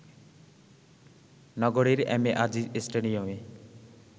নগরীর M A Aziz স্টেডিয়ামে